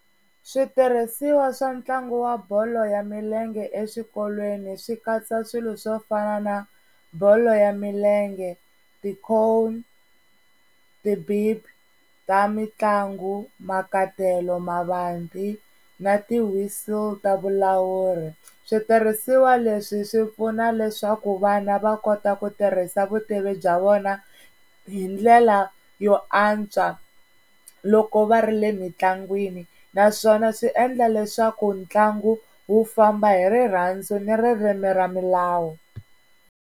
Switirhisiwa swa ntlangu wa bolo ya milenge eswikolweni swi katsa swilo swo fana na bolo ya milenge, ti-cone, ti ta mitlangu makatelo mavanti na ti-whistle ta vulawuri switirhisiwa leswi swi pfuna leswaku vana va kota ku tirhisa vutivi bya vona hi ndlela yo antswa loko va ri le mitlangwini naswona swi endla leswaku ntlangu wu famba hi rirhandzu ni ririmi ra milawu.